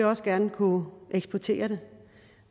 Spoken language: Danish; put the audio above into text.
også gerne kunne eksportere det